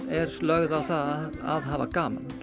er lögð á að hafa gaman